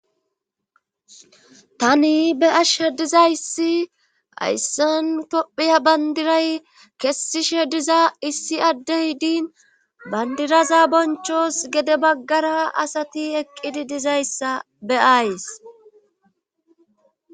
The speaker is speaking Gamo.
tani be'ashedizayssi ayssantophiya bandiray kessi shediza issi adde hidin bandiraza bonchos gede baggara asati eqqidi dizayssa be7ays